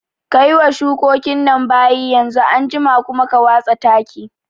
Kayi wa shukokin nan bayi yanzu, anjima kuma ka watsa taki